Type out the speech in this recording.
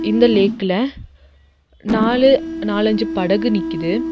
இந்த லேக்ல நாலு நாலஞ்சு படகு நிக்குது.